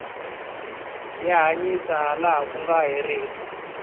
ya hanyisa ha laha ku nga herika